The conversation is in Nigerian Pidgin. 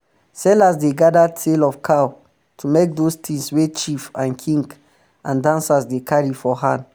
sellers dey gather tail of cow to make those tings wey chief and king and dancers dey carry for hand